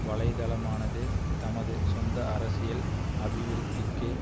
வலைத்தளமானது தமது சொந்த அரசியல் அபிவிருத்திக்கு